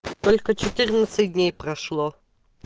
только четырнадцать дней прошло